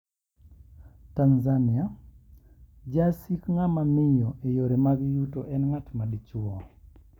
Tanzania: Jasik ng`ama miyo e yore mag yuto en ng`at ma dichwo.